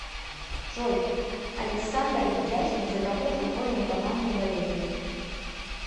джой александр ведяхин за какую футбольную команду болеет